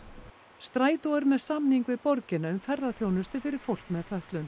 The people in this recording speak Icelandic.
Strætó er með samning við borgina um ferðaþjónustu fyrir fólk með fötlun